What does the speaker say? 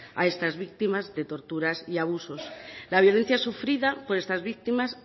a estas víctimas de torturas y abusos la violencia sufrida por estas víctimas